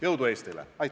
Jõudu Eestile!